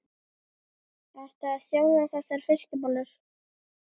Ertu að sjóða þessar fiskbollur?